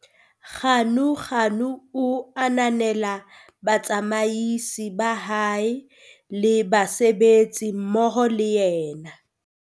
Ganuganu o ananela batsamaisi ba hae le basebetsi mmoho le ena.